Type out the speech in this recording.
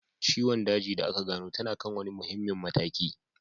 Ciwon daji da aka gano tana kan wani muhimmin mataki